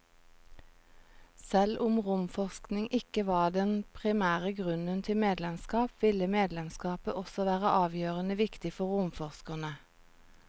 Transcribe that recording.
Selv om romforskning ikke var den primære grunnen til medlemskap, ville medlemskapet også være avgjørende viktig for romforskerne.